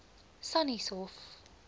sannieshof